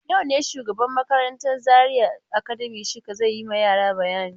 Yau ne shugaban makarantan Zaria Academy Shika zai yi ma yara bayani.